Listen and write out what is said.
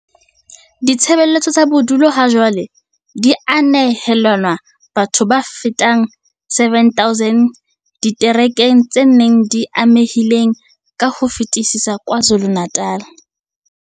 Ditshebeletso tsa bodulo hajwale di a nehelanwa bathong ba fetang 7 000 diterekeng tse nne tse amehileng ka ho fetisisa KwaZulu-Natal.